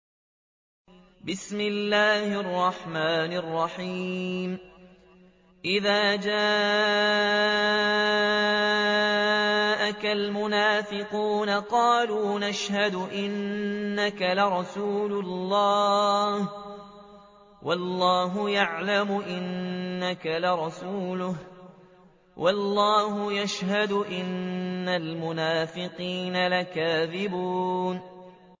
إِذَا جَاءَكَ الْمُنَافِقُونَ قَالُوا نَشْهَدُ إِنَّكَ لَرَسُولُ اللَّهِ ۗ وَاللَّهُ يَعْلَمُ إِنَّكَ لَرَسُولُهُ وَاللَّهُ يَشْهَدُ إِنَّ الْمُنَافِقِينَ لَكَاذِبُونَ